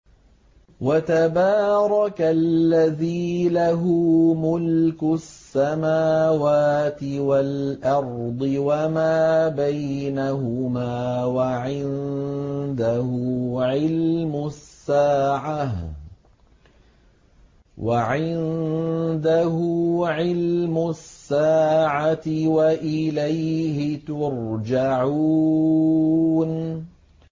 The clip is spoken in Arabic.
وَتَبَارَكَ الَّذِي لَهُ مُلْكُ السَّمَاوَاتِ وَالْأَرْضِ وَمَا بَيْنَهُمَا وَعِندَهُ عِلْمُ السَّاعَةِ وَإِلَيْهِ تُرْجَعُونَ